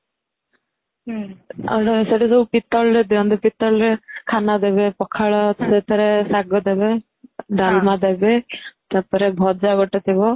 ଆଉ ସେଠି ଯୋଉ ଦିଅନ୍ତି ପିତଳରେ ପିତଳରେ ଖାନା ଦେବେ ପଖାଳ ସେଥିରେ ଶାଗ ଦେବେ ଡାଲମା ଦେବେ ସେଥିରେ ଭଜା ଗୋଟେ ଥିବ